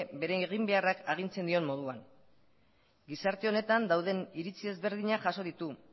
bere eginbeharrak agintzen dion moduan gizarte honetan dauden iritzi ezberdinak jaso ditu